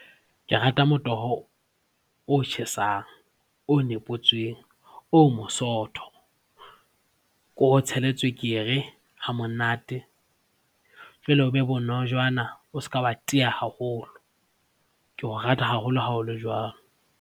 Ke rata motoho o tjhesang, o nepotsweng, o mosootho, ke o tshele tswekere hamonate jwale o be bonojana, o ska wa tiiya haholo. Ke o rata haholo ha o le jwalo.